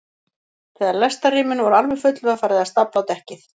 Þegar lestarrýmin voru alveg full var farið að stafla á dekkið.